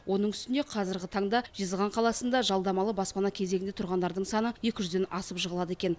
оның үстіне қазіргі таңда жезқазған қаласында жалдамалы баспана кезегінде тұрғандардың саны екі жүзден асып жығылады екен